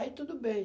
Aí tudo bem.